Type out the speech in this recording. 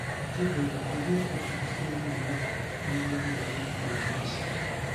Akĩongerera ingĩakorwo ihĩtia rĩnene magĩagire gũũka mashidano.